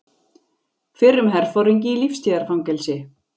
Fyrrum herforingi í lífstíðarfangelsi